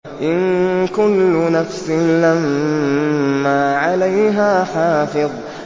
إِن كُلُّ نَفْسٍ لَّمَّا عَلَيْهَا حَافِظٌ